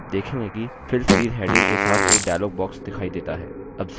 आप देखेंगे कि fill series heading के साथ एक dialog box दिखाई देता है